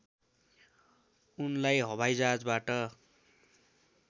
उनलाई हवाइजहाजबाट